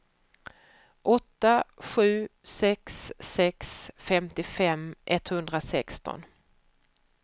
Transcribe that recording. åtta sju sex sex femtiofem etthundrasexton